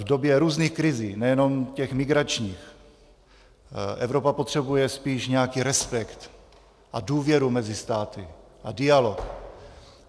V době různých krizí, nejenom těch migračních, Evropa potřebuje spíš nějaký respekt a důvěru mezi státy a dialog.